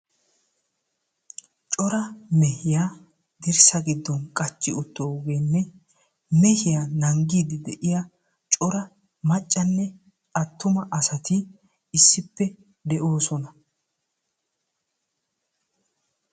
Cora mehiya dirssa giddon qachchi uttogeenne mehiya nanggiiddi de'iya cora maccanne attuma asati issippe de'oosona.